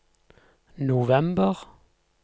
november